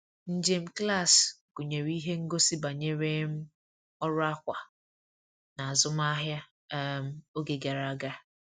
Njem klaasị gụnyere ihe ngosi banyere um ọrụ akwa n'azụmahịa um oge gara aga.